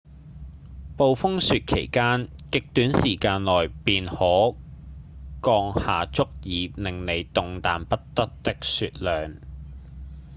暴風雪期間極短時間內便可降下足以讓您動彈不得的雪量